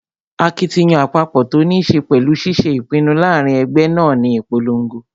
Akitiyan àpapọ̀ tó ní ṣe pẹ̀lú ṣiṣé ìpinnu láàrin ẹgbẹ́ náà ní ìponlogo